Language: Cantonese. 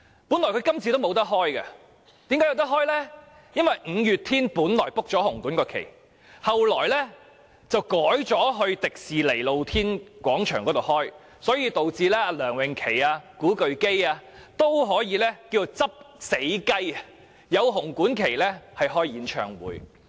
本來今次她也沒有機會，但後來因為五月天早已預訂紅館檔期，最後卻改在香港迪士尼樂園露天廣場舉行演唱會，以致梁詠琪、古巨基均可"執死雞"，在紅館舉行演唱會。